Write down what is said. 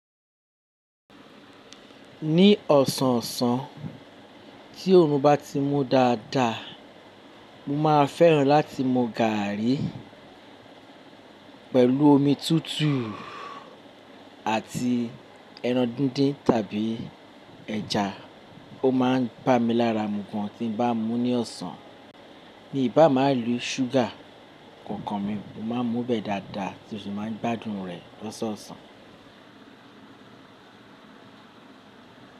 Ní ọ̀sàǹsàn tí òòrùn bá ti mú dada, mo máa fẹ́ràn láti mu gaàrí pẹ̀lú omi tútù àti ẹran díndín tàbí ẹja. Ó máa ń bá mi lára mu gan tí bá ń mú ní ọ̀sàǹsàn. Mí bà máa ń rí ṣúgà kó kan mi, mo máa ń mú bẹ́ẹ̀ dáadáa tí mó sì máa ń gbádùn rẹ̀ lọ́san ọ̀sàn.